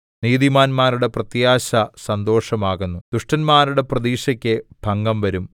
നീതിമാന്മാരുടെ പ്രത്യാശ സന്തോഷമാകുന്നു ദുഷ്ടന്മാരുടെ പ്രതീക്ഷയ്ക്ക് ഭംഗം വരും